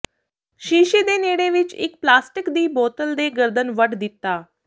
ਸ਼ੀਸ਼ੇ ਦੇ ਨੇੜੇ ਵਿੱਚ ਇੱਕ ਪਲਾਸਟਿਕ ਦੀ ਬੋਤਲ ਦੇ ਗਰਦਨ ਵੱਢ ਦਿੱਤਾ